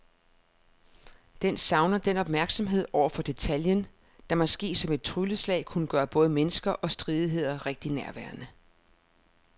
Den savner den opmærksomhed over for detaljen, der måske som et trylleslag kunne gøre både mennesker og stridigheder rigtig nærværende.